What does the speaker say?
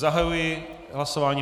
Zahajuji hlasování.